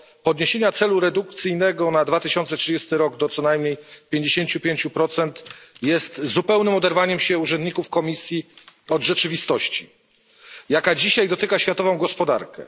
podniesienia celu redukcyjnego na 2030 r. do co najmniej 55, jest zupełnym oderwaniem się urzędników Komisji od rzeczywistości, jaka dzisiaj dotyka światową gospodarkę.